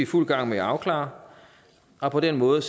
fuld gang med at afklare og på den måde